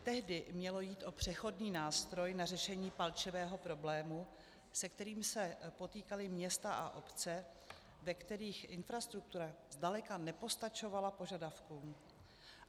Tehdy mělo jít o přechodný nástroj na řešení palčivého problému, se kterým se potýkaly města a obce, ve kterých infrastruktura zdaleka nepostačovala požadavkům.